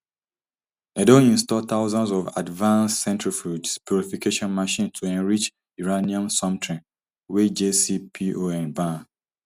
dem don install thousands of advanced centrifuges purification machines to enrich uranium somtin wey jcpoa ban